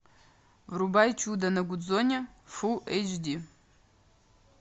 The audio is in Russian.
врубай чудо на гудзоне фул эйч ди